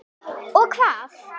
Og hvað?